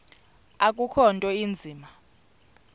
akukho nto inzima